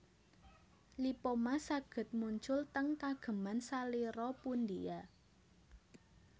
Lipoma saged muncul teng kageman salira pundia